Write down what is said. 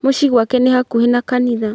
Mũciĩ gwake nĩ hakuhĩ na kanitha